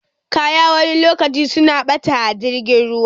Kaya wani lokacin suna ɓata a jirgin ruwa